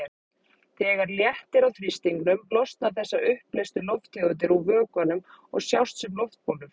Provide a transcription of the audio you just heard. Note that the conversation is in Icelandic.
Þegar léttir á þrýstingnum losna þessar uppleystu lofttegundir úr vökvanum og sjást sem loftbólur.